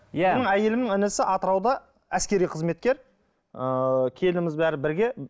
иә менің әйелімнің інісі атырауда әскери қызметкер ы келініміз бәрі бірге